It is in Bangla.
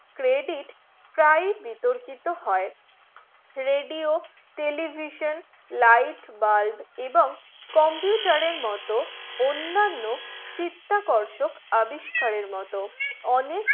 credit প্রায় বিতর্কিত হয়ে radio television light bulb এবং computer মতন অন্যান্য চিত্তাকর্ষক আবিষ্কারের মতন অনেক